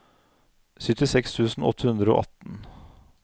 syttiseks tusen åtte hundre og atten